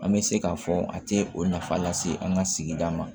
An bɛ se k'a fɔ a tɛ o nafa lase an ka sigida ma